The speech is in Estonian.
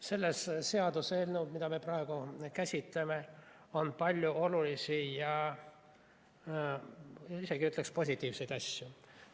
Selles seaduseelnõus, mida me praegu käsitleme, on palju olulisi ja isegi ütleksin, positiivseid asju.